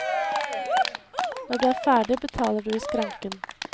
Når du er ferdig betaler du i skranken.